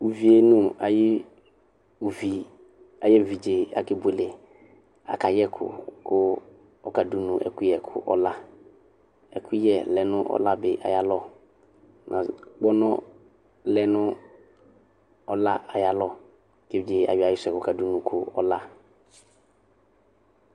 Uví nu ayi uvi ayi evidze aka ebuele k'aka yɛku, ku ɔka dunu ɛkuyɛ k'ɔlã ɛkuyɛ lɛ nu ɔla bi ayalɔ, kpɔnɔ lɛ nu ɔlã ayalɔ k'evidze ayɔ ayisuɛ ku ɔka dunu ku ɔlã